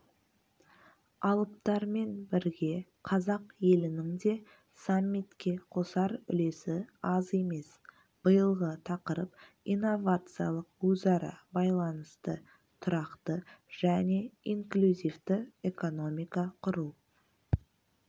алыптармен бірге қазақ елінің де саммитке қосар үлесі аз емес биылғы тақырып инновациялық өзара байланысты тұрақты және инклюзивті экономика құру